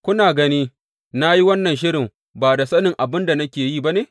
Kuna gani na yi wannan shirin ba da sanin abin da nake yi ba ne?